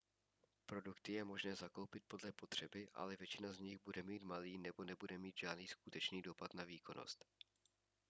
produkty je možné zakoupit podle potřeby ale většina z nich bude mít malý nebo nebude mít žádný skutečný dopad na výkonnost